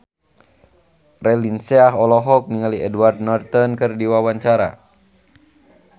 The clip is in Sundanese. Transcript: Raline Shah olohok ningali Edward Norton keur diwawancara